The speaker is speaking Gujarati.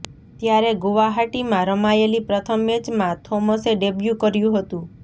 ત્યારે ગુવાહાટીમાં રમાયેલી પ્રથમ મેચમાં થોમસે ડેબ્યૂ કર્યું હતું